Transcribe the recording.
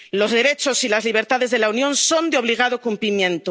Los derechos y las libertades de la Unión son de obligado cumplimiento.